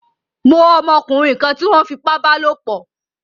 Mó ọmọkúnrin kan tí wón fipá bálòpò